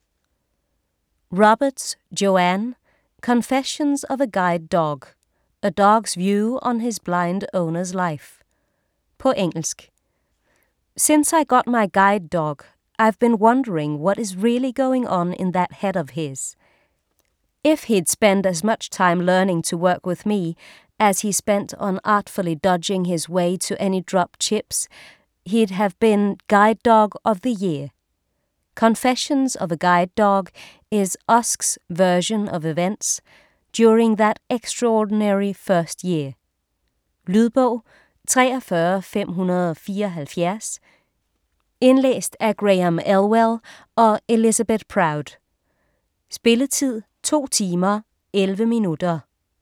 Roberts, Joanne: Confessions of a Guide Dog: a dog's view of his blind owner's life På engelsk. Since I first got my guide dog, I've been wondering what is really going on in that head of his. If he'd spent as much time learning to work with me, as he spent on artfully dodging his way to any dropped chips, he'd have been Guide Dog of the year. Confessions of a Guide Dog is Usk's version of events, during that extraordinary first year. Lydbog 43574 Indlæst af Graham Elwell & Elizabeth Proud Spilletid: 2 timer, 11 minutter.